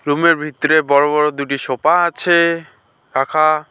রুমের ভিতরে বড় বড় দুটি সোফা আছে রাখা।